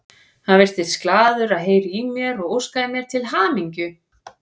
Hann virtist glaður að heyra í mér og óskaði mér til hamingju.